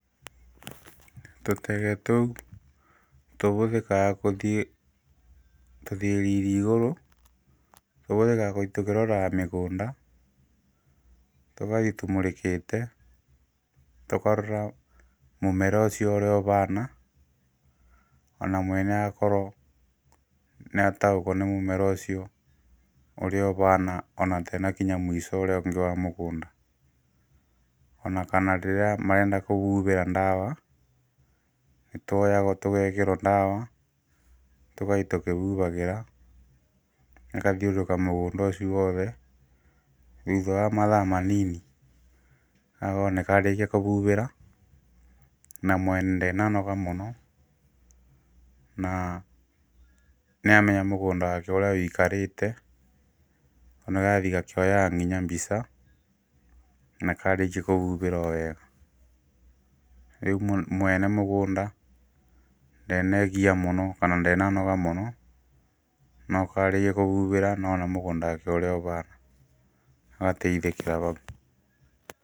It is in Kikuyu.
Tũtege tũu tũbũthĩkaga gũthiĩ igũrũ ,tũbũthĩkaga gũthiĩ tũkĩroraga mĩgũnda tũgathiĩ tũmũrĩkĩte, tũkarora mũmĩra ũcio ũrĩa ũhana, ona mwene akorwo nĩataũkwo nĩ mũmera ũcio ũrĩa ũhana ona atena kinya mwico ũrĩa ũngĩ wa mũgũnda ona kana rĩrĩa marenda kũbubĩra ndawa ,nĩtwoyagwo tũgekĩrwa ndawa tũgathiĩ tũkĩbubagĩra ,tũkathiũrũrũka mũgũnda ũcio wothe thutha wa mathaa manini wona karĩkia kũbubĩra na mwene ndenanoga mũno na nĩamenya mũgũnda wake ũrĩa ũigakarĩte ona arathii akĩoyaga nginya mbica na karĩkia kũbubĩra owega. Rĩũ mwene mũgũnda ndenegiia mũno kana ndenanoga mũno nokaarĩkia kũbũbira na ona mũgũnda wake ũrĩa ũhana agateithĩkĩra hau.